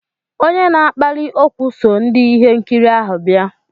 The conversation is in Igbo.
Onye na-akpali ókwú so ndị ihe nkiri ahụ bịa.